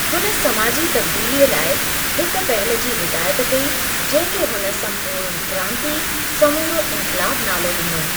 हुन समाजी तब्दीलीअ लाइ हिकु पहल जी हिदायत कई जंहिं खे हुन संपूर्ण क्रांति, समूरो इन्क़लाबु नालो ॾिनो।